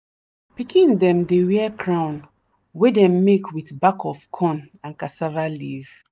pikin dem dey wear crown wey dem make with back of corn and cassava leaf.